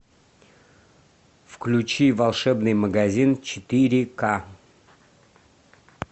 включи волшебный магазин четыре ка